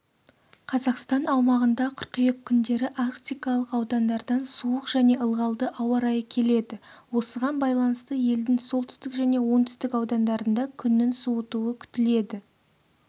қазақстан аумағында қыркүйек күндері арктикалық аудандардан суық және ылғалды ауа-райы келеді осыған байланысты елдің солтүстік және оңтүстік аудандарында күннің суытуы күтіледі